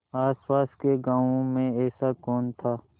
आसपास के गाँवों में ऐसा कौन था